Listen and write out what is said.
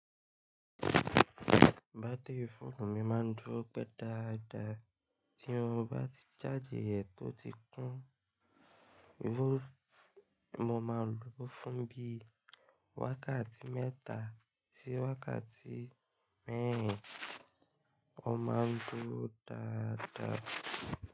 Bátìrí fóònù mi máa ń dúró pẹ́ dadáa tí un bá ti ṣáájì rẹ̀ tó ti kún. Mo máa lò ó fún bí i wákàtí mẹ́ta sí wákàtí mẹ́rin, ó má ń dúró dáadáa.